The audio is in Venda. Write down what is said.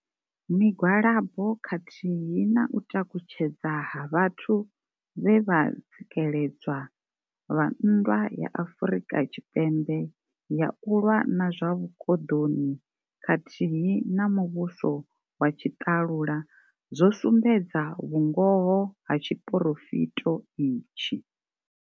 Migwalabo khathihi na u takutshedza ha vhathu vhe vha tsikeledzwa vha nndwa ya Afrika Tshipembe ya u lwa na zwa vhu koḓoni khathihi na muvhuso wa tshi ṱalula zwo sumbedza vhungoho ha tshiporofito itshi.